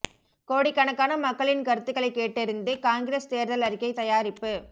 கோடிக்கணக்கான மக்களின் கருத்துகளை கேட்டறிந்து காங்கிரஸ் தேர்தல் அறிக்கை தயாரிப்பு